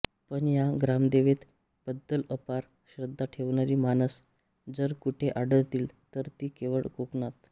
पण या ग्रामदेवते बद्दल अपार श्रद्धा ठेवणारी माणस जर कुठे आढळतील तर ती केवळ कोकणात